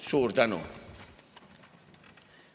Suur tänu!